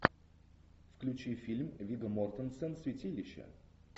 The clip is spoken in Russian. включи фильм вигго мортенсен святилище